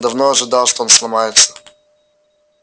я давно ожидал что он сломается